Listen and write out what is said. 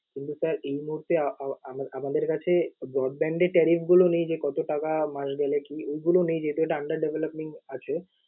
কিন্তু sir এই মুহূর্তে আহ আহ আমাদের কাছে broadband এর tariff গুলো নেই যে, কতো টাকা মাস গেলে কি? ঐগুলো নেই, যেহেতু এটা under developing আছে।